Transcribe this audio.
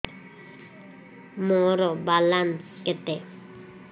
ମୋର ବାଲାନ୍ସ କେତେ